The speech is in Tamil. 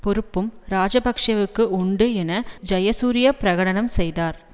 பொறுப்பும் இராஜபக்ஷவுக்கு உண்டு என ஜயசூரிய பிரகடனம் செய்தார்